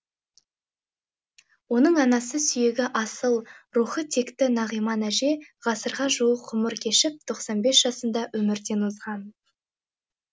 оның анасы сүйегі асыл рухы текті нағиман әже ғасырға жуық ғұмыр кешіп тоқсан бес жасында өмірден озған